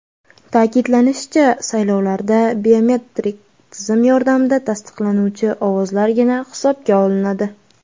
Ta’kidlanishicha, saylovlarda biometrik tizim yordamida tasdiqlanuvchi ovozlargina hisobga olinadi.